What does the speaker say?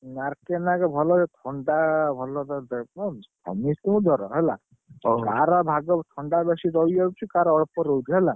ହୁଁ, ଆର୍‌କେ ନାୟକ ଭଲ, ଥଣ୍ଡା ଭଲ କରିଦେବେ। ସମିସ୍ତିଙ୍କୁ ଜର ହେଲା। ଯାହାର ଭାଗ୍ଯ ଥଣ୍ଡା ବେଶୀ ଚଢି ଯାଉଛି କାହାର ଅଳ୍ପ ରହୁଛି ହେଲା।